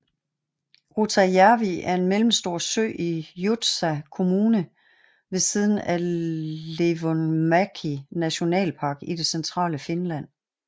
Rutajärvi er en mellemstor sø i Joutsa kommune ved siden af Leivonmäki Nationalpark i det centrale Finland